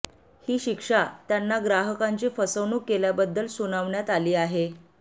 ही शिक्षा त्यांना ग्राहकांची फसवणूक केल्याबद्दल सुनावण्यात आली आहे